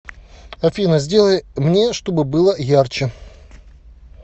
афина сделай мне чтобы было ярче